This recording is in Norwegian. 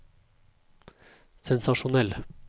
sensasjonell